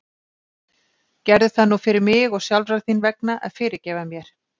Gerðu það nú fyrir mig, og sjálfrar þín vegna, að fyrirgefa mér.